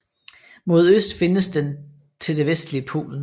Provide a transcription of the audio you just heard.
Mod øst findes den til det vestlige Polen